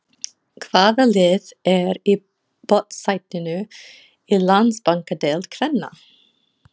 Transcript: Hvaða lið er í botnsætinu í Landsbankadeild kvenna?